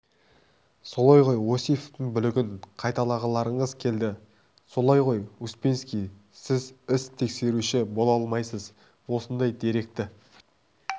солай ғой осиповтың бүлігін қайталағыларыңыз келді солай ғой успенский сіз іс тексеруші бола алмайсыз осындай дөрекі